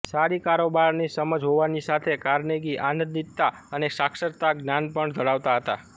સારી કારોબારની સમજ હોવાની સાથે કાર્નેગી આનંદિતતા અને સાક્ષરતા જ્ઞાન પણ ધરાવતા હતા